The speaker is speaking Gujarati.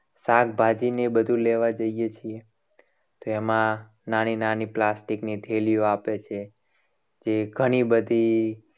શાકભાજી ને બધું લેવા જઈએ છીએ. તો એમાં નાની નાની plastic ની થેલીઓ આપે છે. જે ઘણી બધી